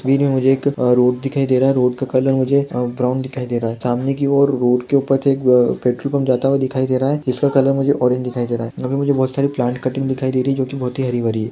एक रोड दिखाई दे रहा है रोड का कलर मुझे अम् ब्राउन दिखाई दे रहा है सामने की ओर रोड के ऊपर से पेट्रोल पंप पर जाते हुए दिखाई दे रहा है जिसका कलर मुझे ऑरेंज दिखाई दे रहा है वहां पर मुझे बहुत सारी प्लांट कटिंग दिखाई दे रही है जो की बहुत ह--